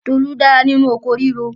Tolú dára nínu oko ríro.